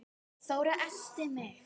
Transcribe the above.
Þóra elti mig.